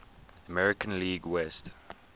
american league west